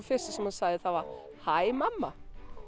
fyrsta sem hann sagði er hæ mamma